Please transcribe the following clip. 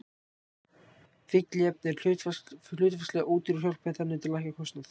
Fylliefni eru hlutfallslega ódýr og hjálpa þannig til að lækka kostnað.